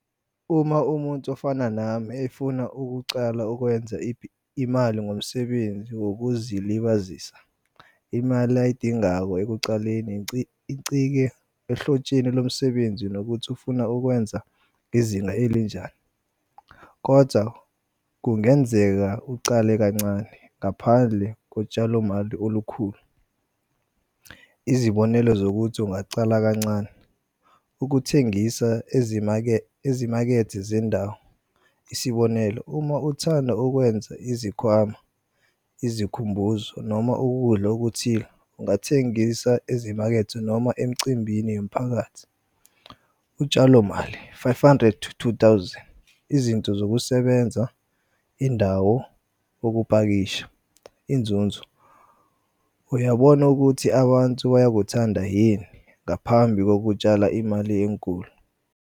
Uma umuntu ofana nami efuna ukucala ukwenza imali ngomsebenzi wokuzilibazisa imali ayidingayo ekucaleni nci icike ehlotsheni lomsebenzi nokuthi ufuna ukwenza izinga elinjani. Kodza kungenzeka ucale kancane ngaphandle kotshalomali olukhulu, izibonelo zokuthi ungacala kancane ukuthengisa ezimakethe zendawo, isibonelo uma uthanda ukwenza izikhwama, izikhumbuzo noma ukudla okuthile ungathengisa ezimakethe noma emcimbini yomphakathi. Utshalomali five hundred two thousand izinto zokusebenza, indawo, ukupakisha, inzunzo uyabona ukuthi abantsu bayakuthanda yini ngaphambi kokutshala imali enkulu.